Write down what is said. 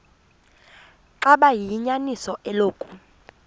xaba liyinyaniso eloku